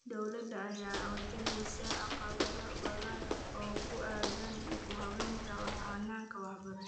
Dowladda ayaa wajaheysa caqabado badan oo ku aadan dib u habeynta hanaanka waxbarashada.